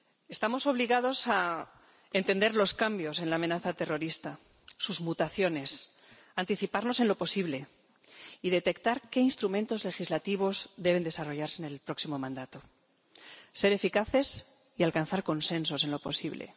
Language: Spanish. Estamos obligados a entender los cambios en la amenaza terrorista, sus mutaciones, anticiparnos en lo posible y detectar qué instrumentos legislativos deben desarrollarse en el próximo mandato, ser eficaces y alcanzar consensos en lo posible.